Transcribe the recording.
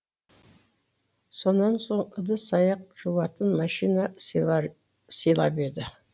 сонан соң ыдыс аяқ жуатын мәшине сыйлап еді